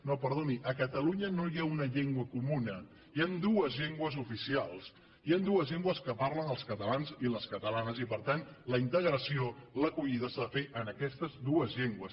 no perdoni a catalunya no hi ha una llengua comuna hi han dues llengües oficials hi han dues llengües que parlen els catalans i les catalanes i per tant la integració l’acollida s’ha de fer en aquestes dues llengües